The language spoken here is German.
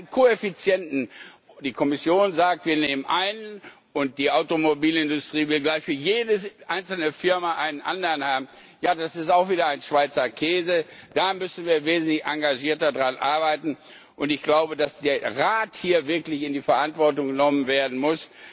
Da gibt es einen Koeffizienten die Kommission sagt, wir nehmen einen, und die Automobilindustrie will gleich für jede einzelne Firma einen anderen haben, ja, das ist auch wieder ein Schweizer Käse. Da müssen wir wesentlich engagierter dran arbeiten. Ich glaube, dass der Rat hier wirklich in die Verantwortung genommen werden